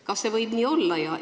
Kas see võib nii olla?